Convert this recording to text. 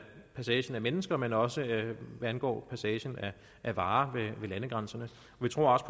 passagen af mennesker men også hvad angår passagen af varer ved landegrænserne vi tror også